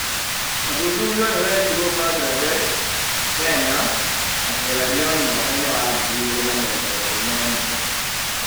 Ũthuthuria ũyũ wekirwo Bangladesh, Kenya, na Sierra Leone mwakainĩ wa 2021.